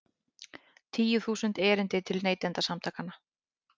Tíu þúsund erindi til Neytendasamtakanna